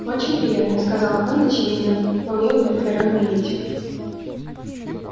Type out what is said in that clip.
очень приятно сказал хан очевидно вполне удовлетворённый и этим